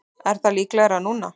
Er það líklegra núna?